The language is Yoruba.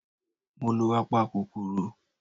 Mo lo apakòkòrò.